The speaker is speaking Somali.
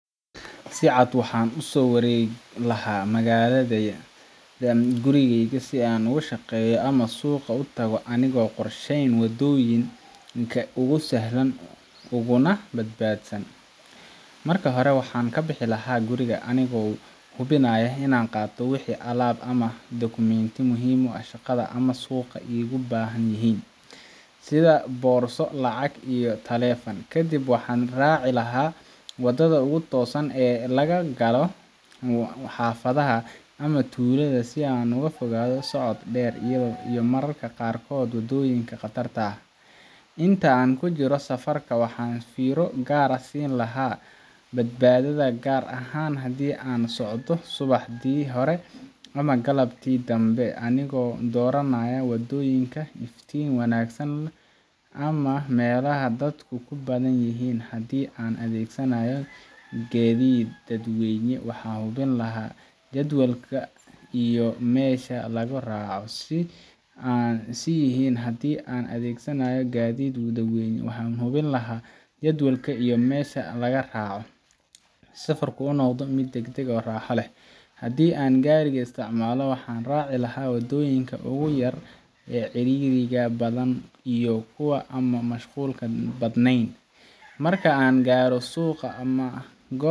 Si caad waxan usowaregi laha magaladeya gurigeyga si anigushaqeya ama suuqa utago wadonyinka ugu sahlan uguna bad badsan marka hore waxan kabixi laha anigo hubinaya inan qato wixi alab ama documents ya muhim uah shaqada ama suqa igubahan yahin sida boorso lacag iyo telefan kadib waxan anraci laha wadada ugu toosan e lagagalo xafadaha ama Tulada si anugufogado socod dheer iyo marar qarkod wadyinka qatarta ah inta ankujiro safarka waxan fiiro gaar aah siin laha bad baadada garahan hadi ansocdo subaxdi hora ama galabti dambe anigo doranayo wadonyinka iftin wanagsan ama melaha dadku kubadan yahin si an adegsanayo gadid dadweyna waxan hubin laha jadwalka iyo mesha lagaraco si an siyahin dadweyne waxan hubin laha jadwalka iyo mesha lagaraco si safarku unoqdo mid dagdag o raxa leeh. hadi an Gariga isticmalo waxan raci laha wadoyinka ugu yar e ceririga badan iyo kuwa ama kuwa mashqulka badneyn marka angaro suqa ama gob